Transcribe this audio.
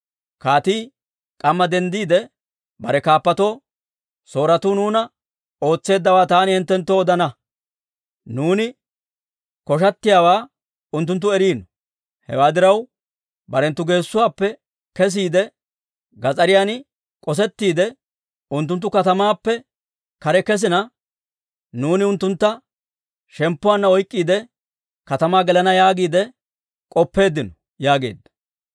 Kaatii k'amma denddiide bare kaappatoo, «Sooretuu nuuna ootseeddawaa taani hinttenttoo odana. Nuuni koshshatiyaawaa unttunttu eriino. Hewaa diraw, barenttu geessuwaappe kesiide, gas'ariyan k'osettiide, unttunttu katamaappe kare kesina, nuuni unttuntta shemppuwaanna oyk'k'iide, katamaa gelana yaagiide k'oppeeddino» yaageedda.